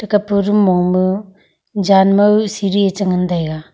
tap pu room mong ma jan mau siri ee chi ngan taiga.